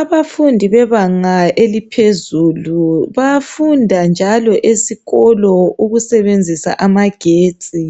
Abafundi bebanga eliphezulu bayafunda njalo esikolo ukusebenzisa amagetsi.